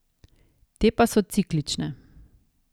Te pa so ciklične.